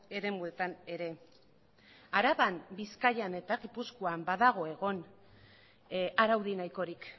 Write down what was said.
eremuetan ere araban bizkaian eta gipuzkoan badago egon araudi nahikorik